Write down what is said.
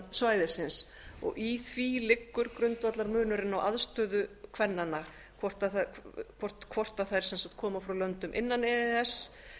svæðisins í því liðnu grundvallarmunurinn á aðstöðu kvennanna hvort þær koma frá löndum innan e e s